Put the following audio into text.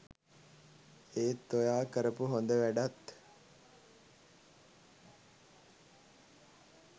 ඒත් ඔයා කරපු හොඳ වැඩත්